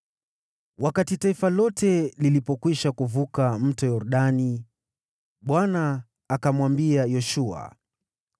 Wakati taifa lote lilipokwisha kuvuka Mto Yordani, Bwana akamwambia Yoshua,